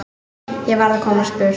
Ég varð að komast burt.